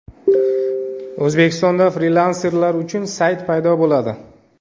O‘zbekistonda frilanserlar uchun sayt paydo bo‘ladi.